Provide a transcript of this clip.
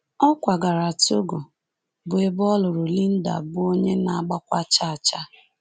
Ọ kwagara Togo, bụ́ ebe ọ lụrụ Linda, bụ́ onye na-agbakwa chaa chaa.